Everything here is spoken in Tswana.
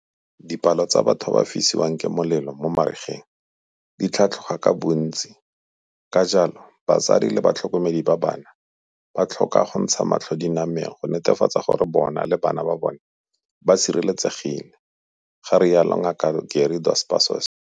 Dipalo tsa batho ba ba fisiwang ke molelo mo marigeng di tlhatlhoga ka bontsi ka jalo batsadi le ba tlhokomedi ba bana ba tlhoka go ntsha matlho dinameng go netefatsa gore bona le bana ba bona ba sireletsegile, ga rialo Ngaka Gary Dos Passos.